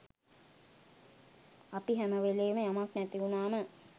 අපි හැමවෙලේම යමක් නැති වුණාම